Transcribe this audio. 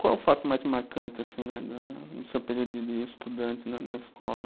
Qual é o fato mais marcante no seu período de estudante na, na escola?